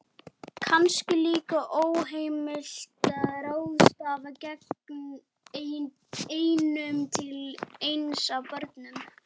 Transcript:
Kannski líka óheimilt að ráðstafa eignum til eins af börnunum